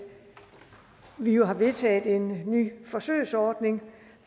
vi jo har vedtaget en ny forsøgsordning